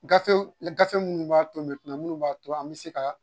Gafe minnu b'a to minnu b'a to an bɛ se ka